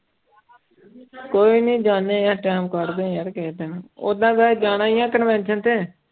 ਕੋਈ ਨੀ ਜਾਂਦੇ ਹਾਂ time ਕੱਢਦੇ ਯਾਰ ਕਿਸੇ ਦਿਨ ਓਦਾਂ ਕਦੇ ਜਾਣਾ ਹੀ ਆਂ ਕਨਵੈਨਸਨ ਤੇ।